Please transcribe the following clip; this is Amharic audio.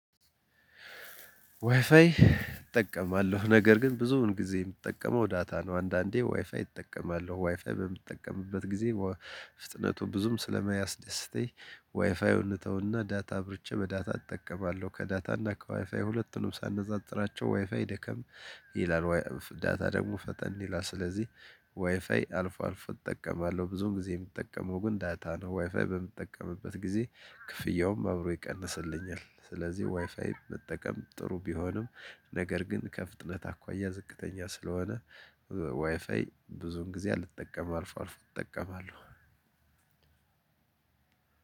ዋይፋይ እጠቀማለሁ ነገር ግን ብዙውን ጊዜ እምጠቀመው ዳታ ነው። አንዳንዴ ዋይፋይ እጠቀማለሁ ዋይፋይ በምትጠቀምበት ጊዜ ፍጥነቱ ብዙም ስለመያስደስተኝ ዋይፋዩን እንተውና ዳታ አብርቼ በዳታ እጠቀማለሁ ከዳታና ከዋይፋይ ሁለቱንም ሳነጻጽራቸው ዋይፋይ ደከም ይላል ዳታ ደግሞ ፈጠን ይላል። ስለዚህ ዋይፋይ አልፎ አልፎ እጠቀማለሁ ብዙን ጊዜ እሚጠቀመው ግን ዳታ ነው። ዋይፋይ በምትጠቀምበት ጊዜ ክፍያውም አብሮ ይቀንስልኛል። ስለዚህ ዋይፋይ መጠቀም ጥሩ ቢሆንም ነገር ግን ከፍጥነት አኳያ ዝቅተኛ ስለሆነ ዋይፋይ ብዙን ጊዜ አልጠቀምም አልፎ አልፎ እጠቀማለሁ።